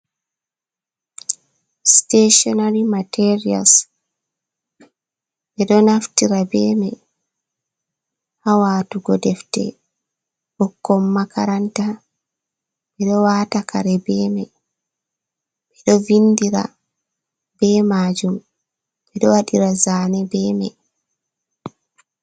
Siteshinary materials, ɓe ɗo naftira be mai ha watugo defte ɓikkoi makaranta, ɓe ɗo waata kare be mai, ɓe ɗo vindira be majum, ɓe ɗo waɗira zaane be mai.